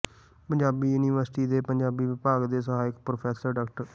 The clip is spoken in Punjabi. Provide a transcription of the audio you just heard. ਪੰਜਾਬੀ ਯੂਨੀਵਰਸਿਟੀ ਦੇ ਪੰਜਾਬੀ ਵਿਭਾਗ ਦੇ ਸਹਾਇਕ ਪ੍ਰੋਫੈਸਰ ਡਾ